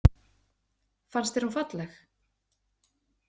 Fannst þér hún falleg?